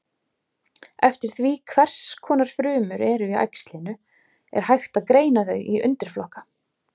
Eftir því hvers konar frumur eru í æxlinu er hægt að greina þau í undirflokka.